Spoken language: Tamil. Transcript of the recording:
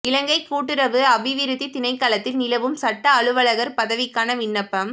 இலங்கை கூட்டுறவு அபிவிருத்தி திணைக்களத்தில் நிலவும் சட்ட அலுவலர் பதவிக்கான விண்ணப்பம்